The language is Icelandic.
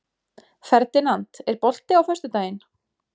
Ferdinand, er bolti á föstudaginn?